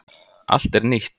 Allt er nýtt.